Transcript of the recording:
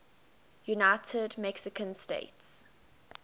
united mexican states